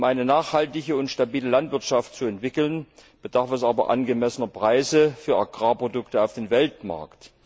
Um eine nachhaltige und stabile Landwirtschaft zu entwickeln, bedarf es aber angemessener Preise für Agrarprodukte auf dem Weltmarkt.